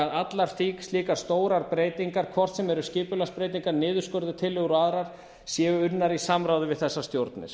að allar slíkar stórar breytingar hvort sem eru skipulagsbreytingar niðurskurðartillögur og aðrar séu unnar í samráði við þessar stjórnir